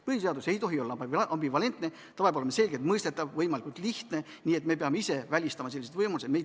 Põhiseadus ei tohi olla ambivalentne, ta peab olema selgelt mõistetav, võimalikult lihtne, nii et me peame ise välistama sellised võimalused.